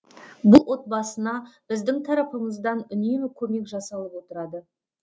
бұл отбасына біздің тарапымыздан үнемі көмек жасалып отырады